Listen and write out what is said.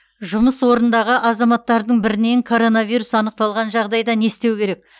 жұмыс орнындағы азаматтардың бірінен коронавирус анықталған жағдайда не істеу керек